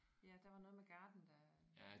Ja der var noget med garden der